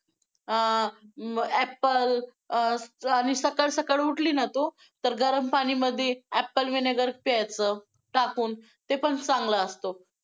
अं apple अं आणि सकाळ सकाळ उठली ना तू तर गरम पाणी मध्ये apple vinegar प्यायचं टाकून ते पण चांगला असतो.